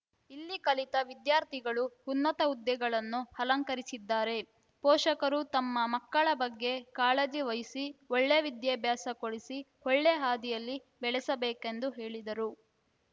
ಇಲ್ಲಿ ಕಲಿತ ವಿದ್ಯಾರ್ಥಿಗಳು ಉನ್ನತ ಹುದ್ದೆಗಳನ್ನು ಅಲಂಕರಿಸಿದ್ದಾರೆ ಪೋಷಕರು ತಮ್ಮ ಮಕ್ಕಳ ಬಗ್ಗೆ ಕಾಳಜಿ ವಹಿಸಿ ಒಳ್ಳೆ ವಿದ್ಯಾಭ್ಯಾಸ ಕೊಡಿಸಿ ಒಳ್ಳೆ ಹಾದಿಯಲ್ಲಿ ಬೆಳೆಸಬೇಕೆಂದು ಹೇಳಿದರು